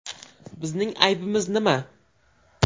Bizning aybimiz nima?